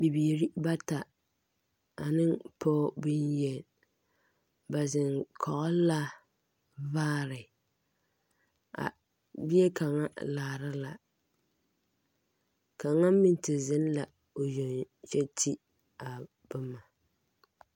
Bibiiri bata ane pɔge boŋyeni. Ba zeŋ kɔge la vaare. A bie kaŋa laara la. Kaŋa meŋ te zeŋ la o yŋ kyɛ ti a boma.